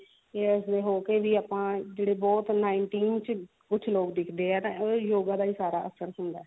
years ਦੇ ਹੋ ਕਿ ਵੀ ਆਪਾਂ ਜਿਹੜੇ ਬਹੁਤ nineteen ਚ ਕੁਛ ਲੋਕ ਦਿਖਦੇ ਆ ਤਾਂ ਉਹ yoga ਦਾ ਹੀ ਸਾਰਾ ਅਸਰ ਹੁੰਦਾ